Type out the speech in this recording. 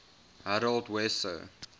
harold wesso